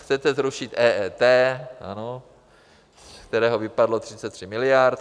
Chcete zrušit EET, z kterého vypadlo 33 miliard.